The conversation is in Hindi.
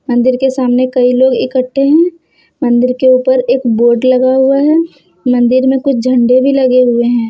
मंदिर के सामने कई लोग इकट्ठे हैं मंदिर के ऊपर एक बोर्ड लगा हुआ है मंदिर में कुछ झंडे भी लगे हुए हैं।